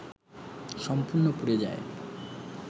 সম্পূর্ণ পুড়ে যায়